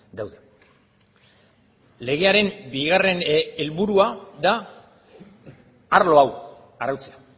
daude legearen bigarren helburua da arlo hau arautzea